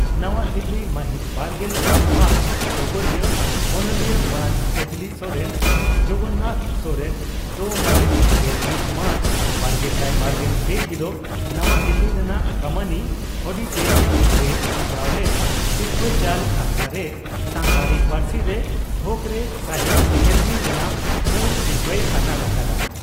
ᱱᱟᱣᱟ ᱫᱤᱞᱤ ᱢᱟᱹᱦᱤᱛᱵᱟᱨᱜᱮᱞ ᱵᱟᱨ ᱢᱟᱨᱪ (ᱰᱚᱜᱚᱨᱤᱭᱟᱹ) ᱺ ᱚᱱᱚᱞᱤᱭᱟᱹ ᱢᱟᱱ ᱠᱟᱡᱽᱞᱤ ᱠᱚᱨᱮᱱ (ᱡᱚᱜᱚᱱ ᱱᱟᱛᱷ ᱥᱚᱨᱮᱱ) ᱫᱚ ᱢᱟᱹᱦᱤᱛ ᱜᱮᱞᱢᱤᱛ ᱢᱟᱨᱪ ᱵᱟᱨᱜᱮᱥᱟᱭ ᱵᱟᱨᱜᱮᱞ ᱯᱮ ᱦᱤᱞᱚᱜ ᱱᱟᱣᱟ ᱫᱤᱞᱤ ᱨᱮᱱᱟᱜ ᱠᱟᱢᱟᱱᱤ ᱚᱰᱤᱴᱚᱨᱤᱭᱟᱢ ᱨᱮ ᱥᱟᱯᱲᱟᱣ ᱞᱮᱱ ᱥᱤᱨᱯᱷᱟᱹ ᱪᱟᱞ ᱟᱠᱷᱲᱟᱨᱮ ᱥᱟᱱᱛᱟᱲᱤ ᱯᱟᱹᱨᱥᱤ ᱨᱮ ᱛᱦᱚᱠᱨᱮ ᱥᱟᱦᱤᱛᱭᱚ ᱟᱠᱟᱫᱮᱢᱤ ᱨᱮᱱᱟᱜ ᱢᱩᱲ ᱥᱤᱨᱯᱷᱟᱹᱭ ᱟᱛᱟᱝ ᱟᱠᱟᱫᱼᱟ ᱾